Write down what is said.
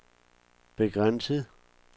begrænset